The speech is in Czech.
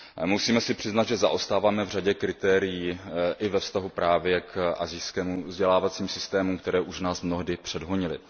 Musíme si přiznat, že zaostáváme v řadě kritérií i ve vztahu právě k asijským vzdělávacím systémům, které už nás mnohdy předhonily.